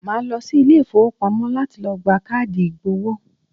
Màá lọ sí Ilé ìfowópamọ́ láti lo gba káàdì ìgbowó